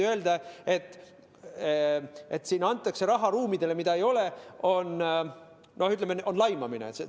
Öelda, et siin antakse raha ruumidele, mida ei ole, on, ütleme, laimamine.